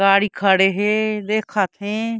गाड़ी खड़े हे देखत हे।